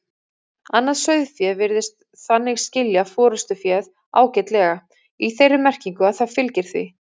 Annað sauðfé virðist þannig skilja forystuféð ágætlega, í þeirri merkingu að það fylgir því.